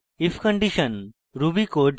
if condition ruby code